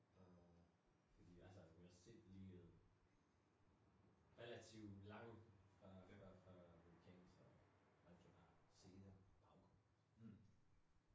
Og det fordi altså universitet liggede relativ lang fra fra fra vulkanen så man kunne jo bare se den i baggrunden